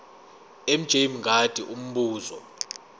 mj mngadi umbuzo